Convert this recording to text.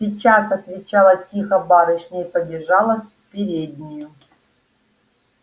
сейчас отвечала тихо барышня и побежала в переднюю